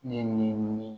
Ne ye nin